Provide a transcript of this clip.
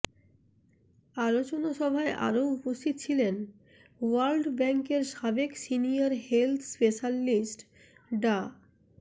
আলোচনা সভায় আরও উপস্থিত ছিলেন ওয়ার্ল্ড ব্যাংকের সাবেক সিনিয়র হেলথ স্পেশালিস্ট ডা